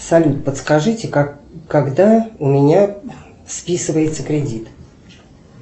салют подскажите когда у меня списывается кредит